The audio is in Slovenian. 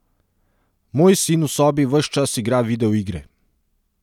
Moj sin v sobi ves čas igra videoigre.